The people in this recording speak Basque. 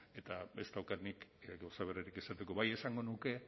eta ez daukat nik gauza berririk esateko bai esango nuke